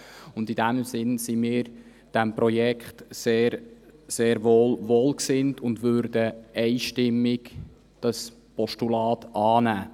In diesem Sinne sind wir diesem Projekt sehr wohlgesinnt und würden das Postulat einstimmig annehmen.